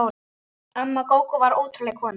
Amma Gógó var ótrúleg kona.